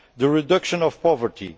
the reduction of poverty